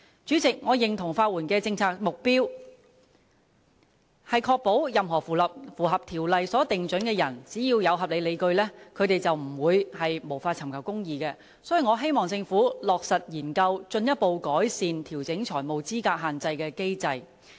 主席，我認同法援的政策目標，是確保任何符合有關條例所訂準則的人，只要有合理理據，便不會無法尋求公義，所以我希望政府落實研究進一步改善調整財務資格限額的機制。